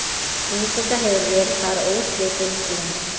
Búseta hefur verið þar óslitin síðan.